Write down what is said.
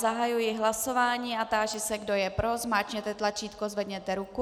Zahajuji hlasování a táži se, kdo je pro, zmáčkněte tlačítko, zvedněte ruku.